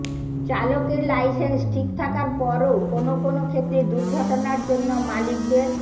চালকের লাইসেন্স ঠিক থাকার পরও কোনো কোনো ক্ষেত্রে দুর্ঘটনার জন্য মালিকদের